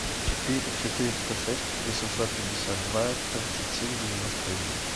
четыре четыреста шесть восемьсот пятьдесят два тридцать семь девяносто один